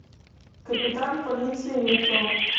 капитан полиции метро